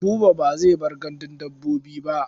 Buba ba zai bar gandun dabbobi ba.